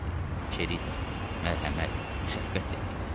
Çerita mərhəmət, şəfqət deməkdir.